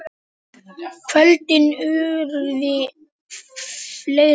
Kvöldin urðu fleiri.